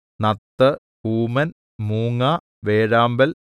നത്ത് കൂമൻ മൂങ്ങാ വേഴാമ്പൽ